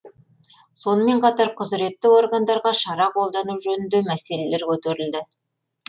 сонымен қатар құзіретті органдарға шара қолдану жөнінде мәселелер көтерілді